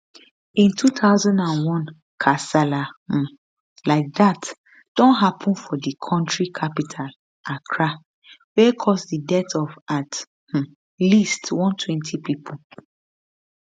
in 2001 one kasala um like dat don happun for di kontri capital accra wia cause di death of at um least 120 pipo